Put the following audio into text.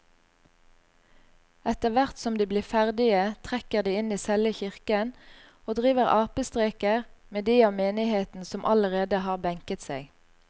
Etterthvert som de blir ferdige trekker de inn i selve kirken og driver apestreker med de av menigheten som allerede har benket seg.